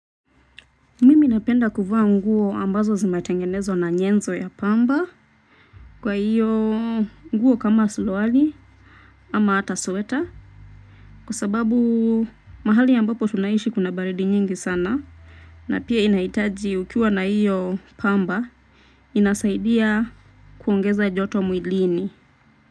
Mimi napenda kuvaa nguo ambazo zinatengenezwa na nyenzo ya pamba. Kwa hiyo nguo kama suruali ama hata sweta kwa sababu mahali ambapo tunaishi kuna baridi nyingi sana na pia inaitaji ukiwa na hiyo pamba inasaidia kuongeza joto mwilini.